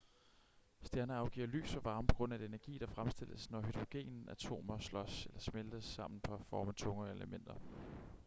stjerner afgiver lys og varme på grund af den energi der fremstilles når hydrogenatomer slås eller smeltes sammen for at forme tungere elementer